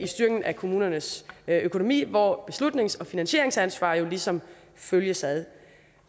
styrken af kommunernes økonomi hvor beslutnings og finansieringsansvar ligesom følges ad